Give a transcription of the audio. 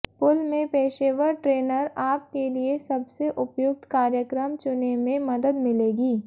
pool में पेशेवर trainer आप के लिए सबसे उपयुक्त कार्यक्रम चुनें में मदद मिलेगी